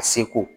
A seko